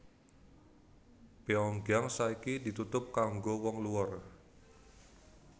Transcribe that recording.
Pyongyang saiki ditutup kanggo wong luar